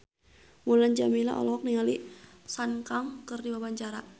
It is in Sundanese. Mulan Jameela olohok ningali Sun Kang keur diwawancara